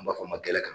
An b'a fɔ ma gɛlɛ kan